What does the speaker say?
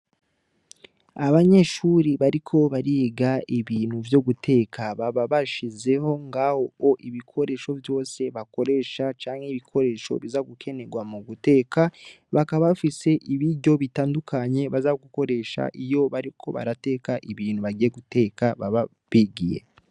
Abanyeshure bariko bariga ibintu vyo guteka baba bashizeho ngahoo ibikoresho vyose bakoresha canke ibikoresho biza gukenerwa mu guteka. Bakaba bafise ibiryo bitandukanye baza gukoresha iyo bariko barateka ibintu baza guteka baba bigiyeko.